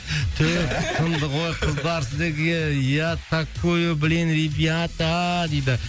түф сынды ғой қыздар сіздерге я такую блин ребята дейді